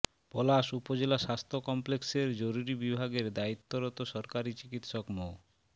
পলাশ উপজেলা স্বাস্থ্য কমপ্লেক্সের জরুরি বিভাগের দায়িত্বরত সহকারি চিকিৎসক মো